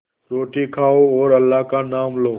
रोटी खाओ और अल्लाह का नाम लो